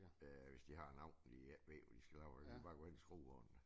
Øh hvis de har en dag de ikke ved hvad de skal lave og de bare gå hen og skruer